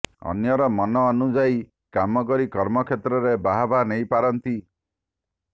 ଅନ୍ୟର ମନ ଅନୁଯାୟୀ କାମ କରି କର୍ମକ୍ଷେତ୍ରରେ ବାହାବା ନେଇପାରନ୍ତି